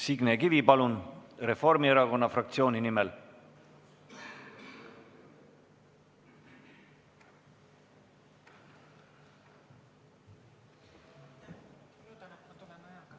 Signe Kivi, palun, Reformierakonna fraktsiooni nimel!